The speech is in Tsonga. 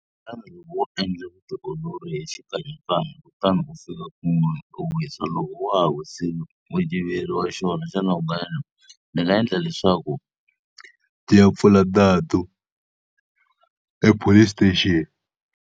Xana loko wo endla vutiolori hi xikanyakanya, kutani u fika kun'wana u wisa loko wa ha wisile u yiveriwa xona, xana u nga endla yini? Ni nga endla leswaku ni ya pfula nandzu epolice station.